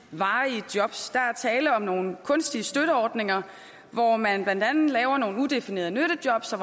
varige jobs der er tale om nogle kunstige støtteordninger hvor man blandt andet laver nogle udefinerede nyttejobs og